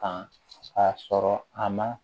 Kan k'a sɔrɔ a ma